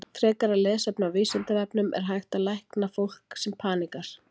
Frekara lesefni á Vísindavefnum: Er hægt að lækna fólk sem paníkerar?